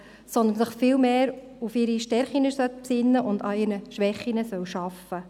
Sie soll sich vielmehr auf ihre Stärken besinnen und an den Schwächen arbeiten.